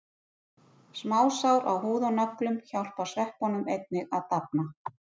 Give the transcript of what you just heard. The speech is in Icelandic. Smásár á húð og nöglum hjálpa sveppunum einnig að dafna.